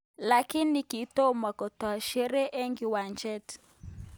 Lakini kitomo kotoi sheree eng kiwanjet